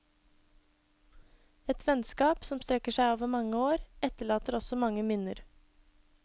Et vennskap som strekker seg over mange år, etterlater også mange minner.